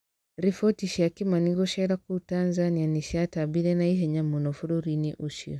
Riboti cia Kĩmani gũceera kũu Tanzania nĩ ciatambire na ihenya mũno bũrũri-inĩ ũcio.